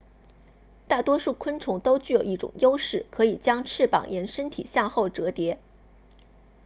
大多数昆虫都具有一种优势可以将翅膀沿身体向后折叠